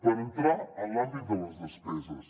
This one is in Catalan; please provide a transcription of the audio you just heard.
per entrar en l’àmbit de les despeses